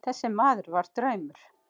Þessi maður var draumur.